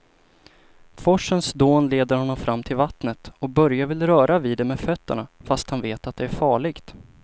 Forsens dån leder honom fram till vattnet och Börje vill röra vid det med fötterna, fast han vet att det är farligt.